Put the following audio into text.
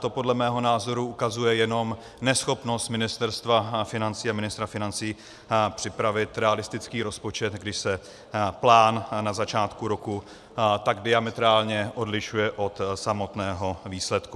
To podle mého názoru ukazuje jenom neschopnost Ministerstva financí a ministra financí připravit realistický rozpočet, když se plán na začátku roku tak diametrálně odlišuje od samotného výsledku.